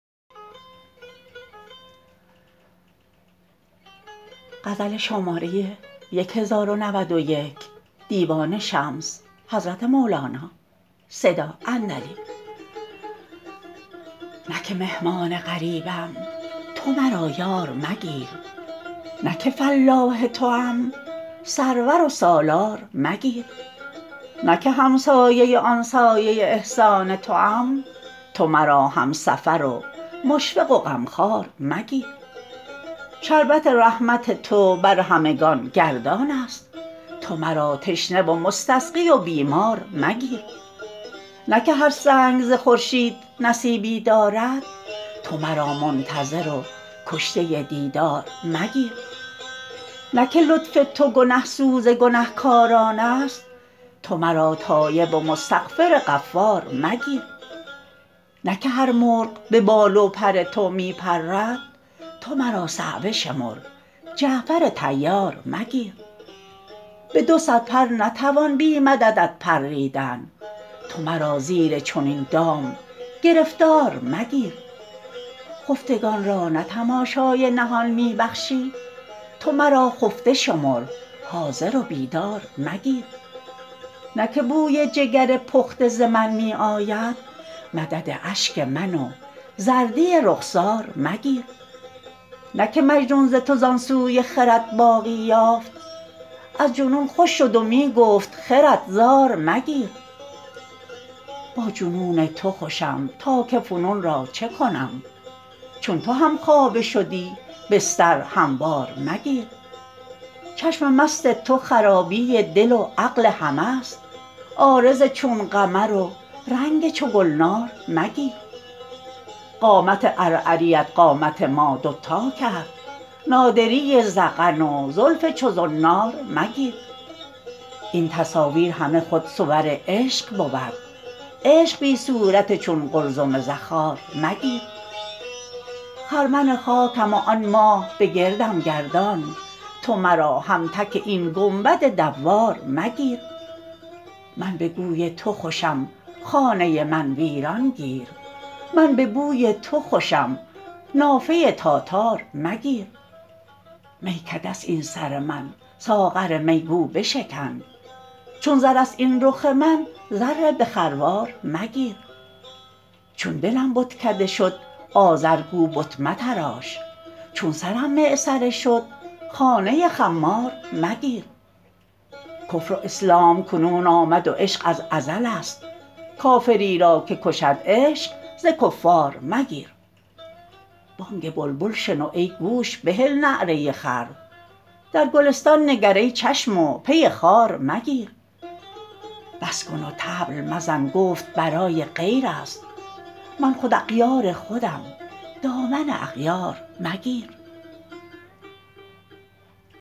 نه که مهمان غریبم تو مرا یار مگیر نه که فلاح توام سرور و سالار مگیر نه که همسایه آن سایه احسان توام تو مرا همسفر و مشفق و غمخوار مگیر شربت رحمت تو بر همگان گردانست تو مرا تشنه و مستسقی و بیمار مگیر نه که هر سنگ ز خورشید نصیبی دارد تو مرا منتظر و کشته دیدار مگیر نه که لطف تو گنه سوز گنه کارانست تو مرا تایب و مستغفر غفار مگیر نه که هر مرغ به بال و پر تو می پرد تو مرا صعوه شمر جعفر طیار مگیر به دو صد پر نتوان بی مددت پریدن تو مرا زیر چنین دام گرفتار مگیر خفتگان را نه تماشای نهان می بخشی تو مرا خفته شمر حاضر و بیدار مگیر نه که بوی جگر پخته ز من می آید مدد اشک من و زردی رخسار مگیر نه که مجنون ز تو زان سوی خرد باغی یافت از جنون خوش شد و می گفت خرد زار مگیر با جنون تو خوشم تا که فنون را چه کنم چون تو همخوابه شدی بستر هموار مگیر چشم مست تو خرابی دل و عقل همه ست عارض چون قمر و رنگ چو گلنار مگیر قامت عرعریت قامت ما دوتا کرد نادری ذقن و زلف چو زنار مگیر این تصاویر همه خود صور عشق بود عشق بی صورت چون قلزم زخار مگیر خرمن خاکم و آن ماه بگردم گردان تو مرا همتک این گنبد دوار مگیر من به کوی تو خوشم خانه من ویران گیر من به بوی تو خوشم نافه تاتار مگیر میکده ست این سر من ساغر می گو بشکن چون زرست این رخ من زر به خروار مگیر چون دلم بتکده شد آزر گو بت متراش چون سرم معصره شد خانه خمار مگیر کفر و اسلام کنون آمد و عشق از ازلست کافری را که کشد عشق ز کفار مگیر بانگ بلبل شنو ای گوش بهل نعره خر در گلستان نگر ای چشم و پی خار مگیر بس کن و طبل مزن گفت برای غیرست من خود اغیار خودم دامن اغیار مگیر